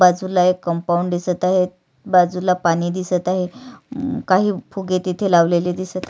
बाजूला एक कंपाऊंड दिसत आहे बाजूला पाणी दिसत आहे काही फुगे तिथे लावलेले दिसत --